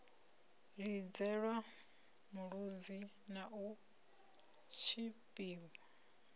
lidzelwa mulodzi na u tshipiwa